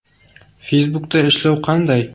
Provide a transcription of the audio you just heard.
Facebook’da ishlash qanday?